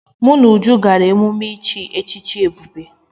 Mụ na Uju gara emume ichi echichi Ebube.